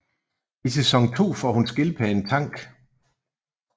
I sæson 2 får hun skildpadden Tank